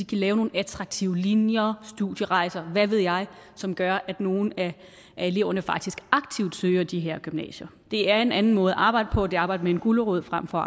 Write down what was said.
kan lave nogle attraktive linjer studierejser hvad ved jeg som gør at nogle af eleverne faktisk aktivt søger de her gymnasier det er en anden måde at arbejde på det arbejde med en gulerod frem for